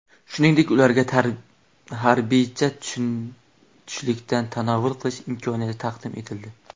Shuningdek, ularga harbiycha tushlikdan tanovvul qilish imkoniyati taqdim etildi.